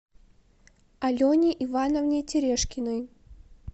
алене ивановне терешкиной